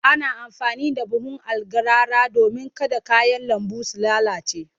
Ana amfani da buhun algarara domin kada kayan lambu su lalace.